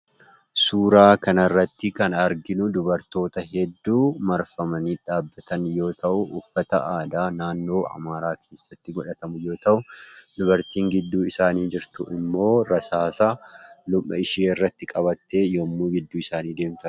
Suuraa kanarratti kan arginu dubartoota hedduu marfamanii dhaabbatan yoo ta'u uffata aadaa naannoo amaaraa keessatti godhatamu yoo ta'u, dubartiin gidduu isaanii jirtu immoo rasaasa morma ishee irratti qabattee yemmuu gidduu isaanii deemtu argina.